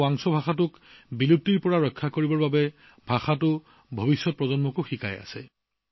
তেওঁ ৱাংছু ভাষাও পৰৱৰ্তী প্ৰজন্মক শিকাইছে যাতে এই ভাষাটো বিলুপ্তিৰ পৰা ৰক্ষা কৰিব পৰা যায়